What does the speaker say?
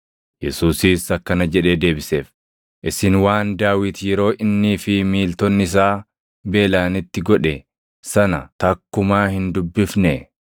Yesuusis akkana jedhee deebiseef; “Isin waan Daawit yeroo innii fi miiltonni isaa beelaʼanitti godhe sana takkumaa hin dubbifnee?